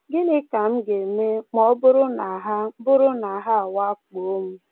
Gịnị ka m ga-eme ma ọ bụrụ na ha bụrụ na ha awakpoo m?